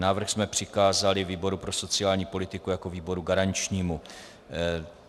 Návrh jsme přikázali výboru pro sociální politiku jako výboru garančnímu.